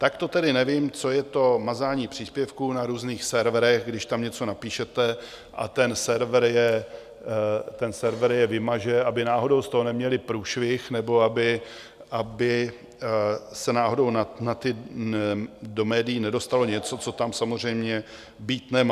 Tak to tedy nevím, co je to mazání příspěvků na různých serverech, když tam něco napíšete a ten server je vymaže, aby náhodou z toho neměli průšvih nebo aby se náhodou do médií nedostalo něco, co tam samozřejmě být nemá.